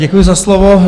Děkuji za slovo.